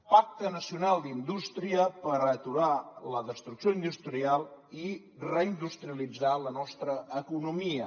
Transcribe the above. pacte nacional d’indústria per aturar la destrucció industrial i reindustrialitzar la nostra economia